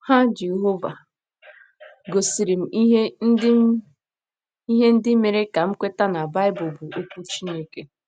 Ha Jehova gosiri m ihe ndị m ihe ndị mere ka m kweta na Baịbụl bụ Okwu Chineke.